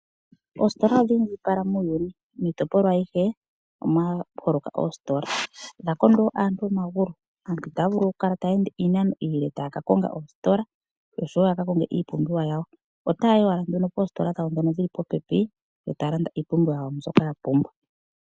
Oositola odhi indjipala muuyuni miitopolwa ayihe omwaholoka oositola dha kondo aantu omagulu. Aantu itaya vulu okukala taya ende iinano iile yaka konge oositola oshowo ya ka konge iipumbiwa yawo, otaya yi owala poositola dhawo ndhono dhili puupepi yo taya landa iipumbiwa yawo mbyoka ya pumbwa.